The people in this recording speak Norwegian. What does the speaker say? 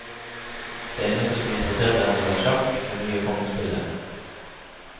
Det eneste som interesserte henne var sjakk, det nye kongespillet.